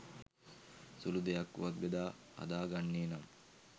සුළු දෙයක් වුවත් බෙදා හදා ගන්නේ නම්